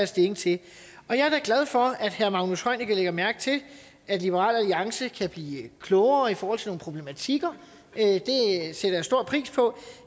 stilling til jeg er da glad for at herre magnus heunicke lægger mærke til at liberal alliance kan blive klogere i forhold til nogle problematikker det sætter jeg stor pris på